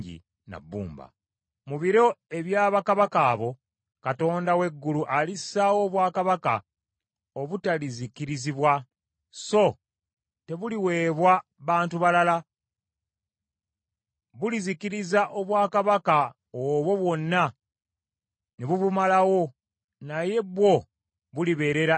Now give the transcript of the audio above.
“Mu biro ebya bakabaka abo, Katonda w’eggulu alissaawo obwakabaka obutalizikirizibwa, so tebuliweebwa bantu balala. Bulizikiriza obwakabaka obwo bwonna, ne bubumalawo, naye bwo bulibeerera emirembe gyonna.